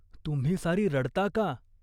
"तुम्ही सारी रडता का ?